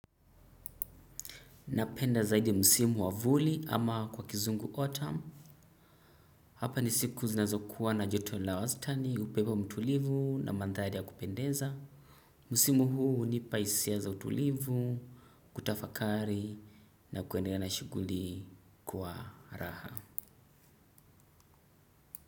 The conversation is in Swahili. Napenda zaidi musimu wavuli ama kwa kizungu autumn. Hapa ni siku zinazokuwa na joto la wastani, upepo mtulivu na mandhari ya kupendeza. Musimu huu hunipa hisia za utulivu, kutafakari na kuendelea na shughuli kwa raha.